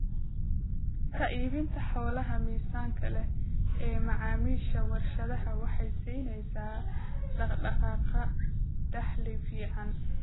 Ka iibinta xoolaha miisaanka leh ee macaamiisha warshadaha waxay siinaysaa dhaq-dhaqaaqa dakhli fiican.